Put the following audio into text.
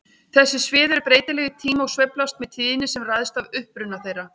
Þessi svið eru breytileg í tíma og sveiflast með tíðni sem ræðst af uppruna þeirra.